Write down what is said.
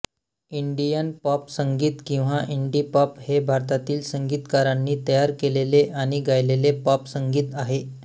Indian pop संगीत किंवा Indipop हे भारतातील संगीतकारांनी तयार केलेले आणि गायलेले पॉप संगीत आहे